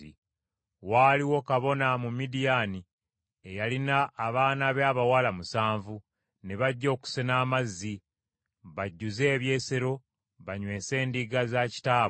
Waaliwo kabona mu Midiyaani eyalina abaana be abawala musanvu, ne bajja okusena amazzi bajjuze ebyesero banywese endiga za kitaabwe.